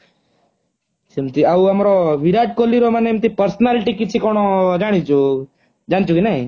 ସେମିତି ଆଉ ଆମର ବିରାଟ କୋହଲୀ ର ମାନେ ଏମତି personality କିଛି କଣ ଜାଣିଛୁ। ଜାଣିଛୁ କି ନାଇ